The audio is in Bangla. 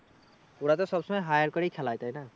ওরা তো সবসময় hire করেই খেলায় তাই না?